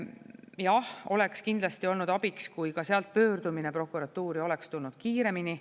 Jah, oleks kindlasti olnud abiks, kui ka sealt pöördumine prokuratuuri oleks tulnud kiiremini.